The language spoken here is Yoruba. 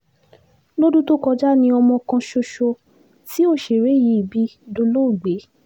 lọ́dún tó kọjá ni ọmọ kan ṣoṣo tí òṣèré yìí bí dolóògbé